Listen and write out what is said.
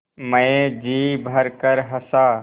मैं जी भरकर हँसा